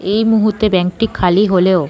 এই মুহূর্তে ব্যাঙ্ক -টি খালি হলেও--